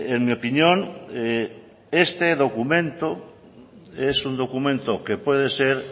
en mi opinión este documento es un documento que puede ser